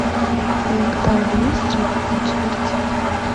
в твоем каталоге есть джек путь смерти